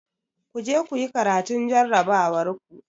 Ku je kuyi karatun jarabawar ku!